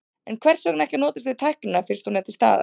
En hvers vegna ekki að notast við tæknina fyrst hún er til staðar?